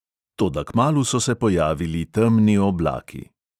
Toda kmalu so se pojavili temni oblaki.